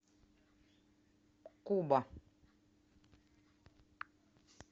куба